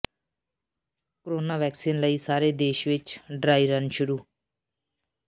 corona vaccine ਲਈ ਸਾਰੇ ਦੇਸ਼ ਵਿੱਚ ਡਰਾਈ ਰਨ ਸ਼ੁਰੂ